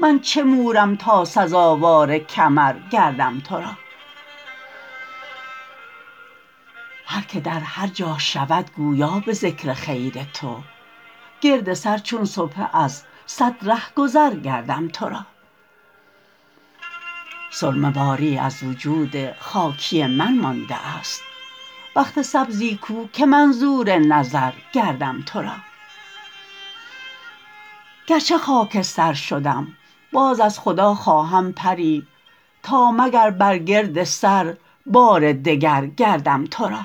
من چه مورم تا سزاوار کمر گردم تو را هر که در هر جا شود گویا به ذکر خیر تو گرد سر چون سبحه از صد رهگذر گردم تو را سرمه واری از وجود خاکی من مانده است بخت سبزی کو که منظور نظر گردم تو را گرچه خاکستر شدم باز از خدا خواهم پری تا مگر بر گرد سر بار دگر گردم تو را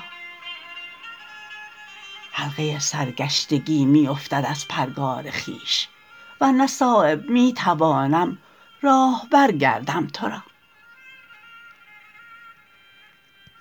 حلقه سرگشتگی می افتد از پرگار خویش ور نه صایب می توانم راهبر گردم تو را